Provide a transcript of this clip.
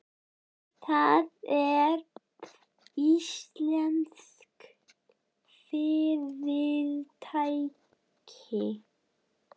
Það er íslenskt fyrirtæki.